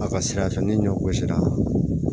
A ka sira fɛ ni ɲɔgosira